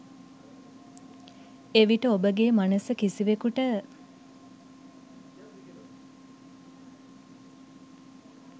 එවිට ඔබගේ මනස කිසිවෙකුට